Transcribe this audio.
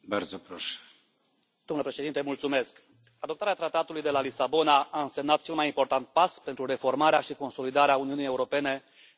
Domnule președinte, adoptarea Tratatului de la Lisabona a însemnat cel mai important pas pentru reformarea și consolidarea Uniunii Europene de la înființarea acesteia.